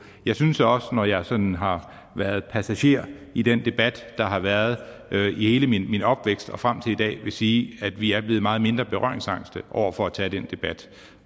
jeg synes også når jeg sådan har været passager i den debat der har været i hele min min opvækst og frem til i dag at jeg vil sige at vi er blevet meget mindre berøringsangste over for at tage den debat